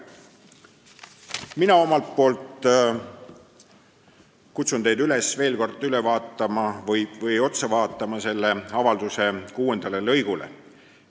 Mina kutsun teid üles veel kord otsa vaatama selle avalduse kuuendale lõigule.